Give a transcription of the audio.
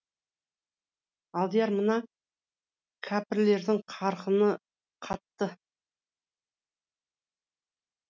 алдияр мына кәпірлердің қарқыны қатты